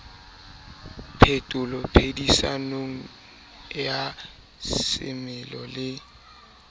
phetoho phedisanong ya semelo le